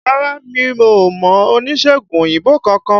Rárá mi ò mọ oníṣègùn òyìnbó kankan